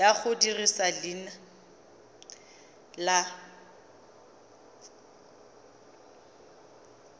ya go dirisa leina la